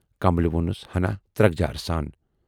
"' کملہِ وونُس ہنا ترکجارٕ سان۔